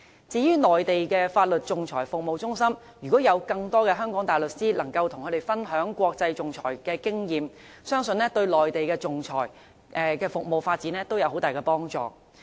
至於內地的法律仲裁服務中心，如果有更多香港的大律師能夠跟他們分享國際仲裁的經驗，相信對內地的仲裁服務發展會有很大幫助。